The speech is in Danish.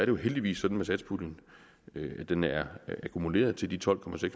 jo heldigvis sådan med satspuljen at den er akkumuleret til de tolv